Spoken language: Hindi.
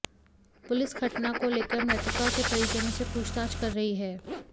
पुलिस घटना को लेकर मृतका के परिजनों से पूछतांछ कर रही है